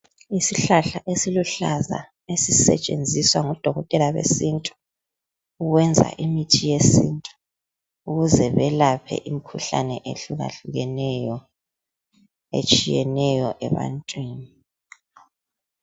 Isihlahla esiluhlaza esisetshenziswa ngodokotela besintu ukwenza imithi yesintu ukuze belaphe imikhuhlane ehlukahlukeneyo etshiyeneyo ebantwini.